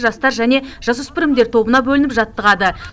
жастар және жасөспірімдер тобына бөлініп жаттығады